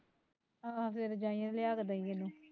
ਆਹ ਫੇਰ ਜਾਈ ਤੇ ਲਿਆ ਕੇ ਦਈ ਮੈਨੂੰ